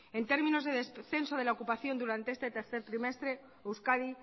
en términos de descenso de la ocupación durante este tercer trimestre euskadi